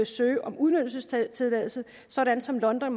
søge om udnyttelsestilladelse sådan som london